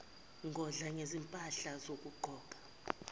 ngokudla ngezimpahla zokugqoka